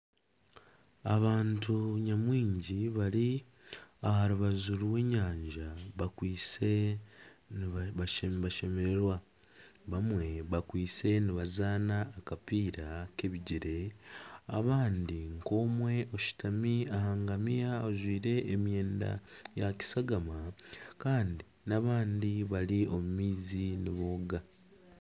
Abantu nyamwingi bari aha rubaju rw'enyanja bakwaitse nibashemererwa bamwe bakwaitse nibazaana akapiira ak'ebigyere abandi nk'omwe oshutami aha ngamiya ajwaire emyenda erikutukura kandi n'abandi bari omu maizi nibooga .